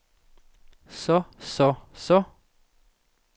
så så så